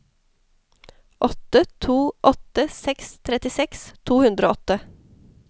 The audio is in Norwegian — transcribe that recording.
åtte to åtte seks trettiseks to hundre og åtte